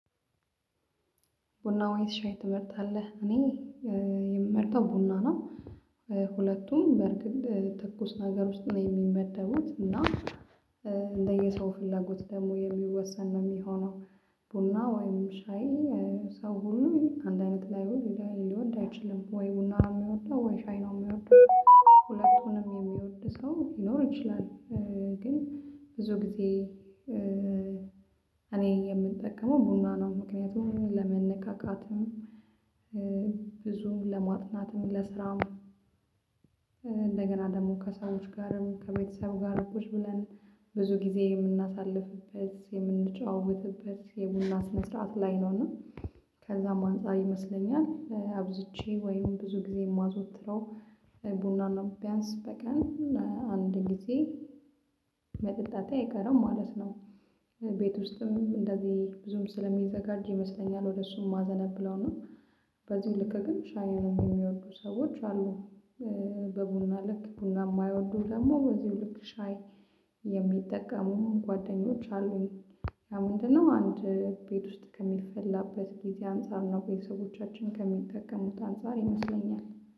ቡና ወይስ ሻይ ትመርጣለህ? እኔ የምመርጠው ቡና ነው። ሁለቱም በርግጥ ትኩስ ነገር ውስጥ ነው የሚመደቡት እና እንደየሰው ፍላጎት ደግሞ የሚወሰን ነው የሚሆነው። ቡና ወይም ሻይ ሰው ሁሉ አንድ አይነት ሊወድ እይችልም ወይ ቡና ነው ሚወደው ወይ ሻይ ነው ሚወደው ሁለቱንም የሚወድ ሰው ሊኖር ይችላል። ግን ብዙ ጊዜ እኔ የምንጠቀመው ቡና ነው ምክንያቱም ለመነካካትም ብዙም ለማጥናትም ለስራም እንደገና ደግሞ ከሰዎች ጋርም ከቤተሰብ ጋር ቁጭ ብለን ብዙ ጊዜ የምናሳልፍበት የምንጨዋወትበት የቡና ስነስርዓት ላይ ነውና ከዛም አንፃር ይመስለኛል አብዝቼ ወይም ብዙ ጊዜ የማዞትረው ቡናን ነው ቢያንስ በቀን አንድ ጊዜ መጠጣቴ አይቀርም ማለት ነው። ቤት ውስጥም እንደዚህ ብዙም ስለሚዘጋጅ ይመስለኛል ወደ እሱም ማዘነብለው እና በዚሁ ልክ ግን ሻዩንም የሚወዱ ሰዎች አሉ። በቡና ልክ ቡና የማይወዱ ደግሞ በዚሁ ልክ ሻይ የሚጠቀሙም ጓደኞች አሉኝ። ና ምንድነው? አንድ ቤት ውስጥ ከሚፈላበት ጊዜ አንፃር ነው ቤተሰቦቻችን ከሚጠቀሙት አንፃር ይመስለኛል